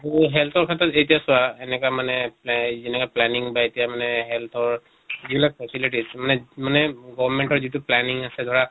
তʼ health ৰ ক্ষেত্ৰত এতিয়া চোৱা এনেকা মানে প্লে যেনেকে planning বা এতিয়া মানে health ৰ যিবিলাক facilities মানে মানে government ৰ যিটো planning আছে ধৰা